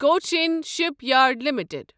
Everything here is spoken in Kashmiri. Cochin shipyard limited